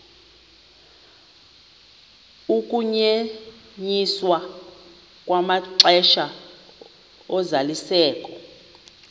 ukunyenyiswa kwamaxesha ozalisekiso